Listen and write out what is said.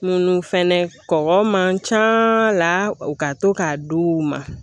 Munnu fɛnɛ kɔkɔ man ca la u ka to k'a d'u ma